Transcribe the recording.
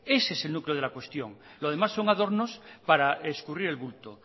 ese es el núcleo de la cuestión lo demás son adornos para escurrir el bulto